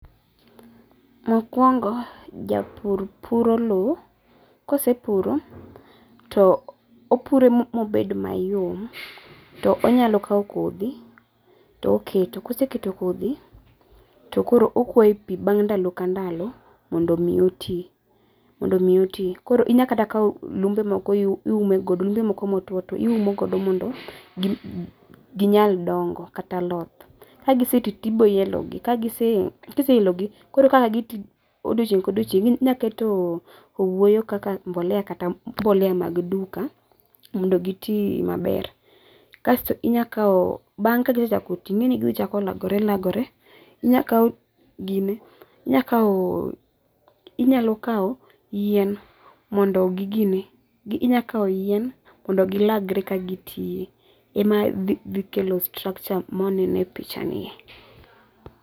mokuongo japur puro lo kose puro to opuro mabed mayom to onyalo kawo kodho to oketo kose keto to koro okuoye pi bang' ndalo ka ndalo mondo mi oti mondo mi oti, koro inyalo kata kawo lumbe moko iume go ,lumbe moko motuo otuo iumo godo mondo gi nyal dongo kata loth, ka gise ti to ibiro yelo gi, kise elo go koro kaka gi ti odiochieng kodiochieng inyalo keto owuoyo kaka mbolea]kata mbolea mar duka modo gi ti maber, bang' ka gisechako ti ingeni gibiro chako lagore lagore, inyalo kawo yien mondo gilagre ka gi ti, ema dhi kelo structure ma waneno e pichani